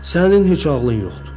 Sənin heç ağlın yoxdur.